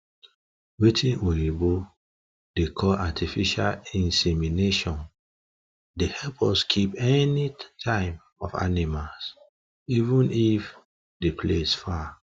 watin oyibo da call artificial insemination the help us keep any time of animas even if the place far